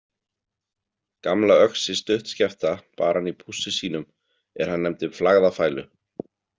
Gamla öxi stuttskefta bar hann í pússi sínum er hann nefndi Flagðafælu.